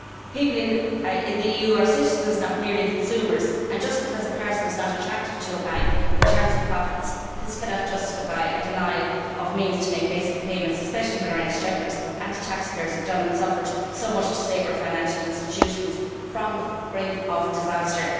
People in the EU are citizens not merely consumers and, just because a person is not attractive to a bank in terms of profits, this cannot justify a denial of the means to make basic payments, especially when our exchequers and our taxpayers have done and suffered so much to save our financial institutions from the brink of disaster.